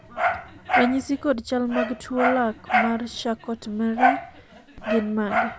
ranyisi kod chal mag tuo lak mar Charcot Marie gin mage?